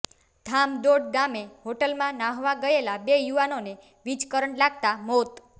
ધામડોદ ગામે હોટલમાં ન્હાવા ગયેલા બે યુવાનોને વીજ કરંટ લાગતાં મોત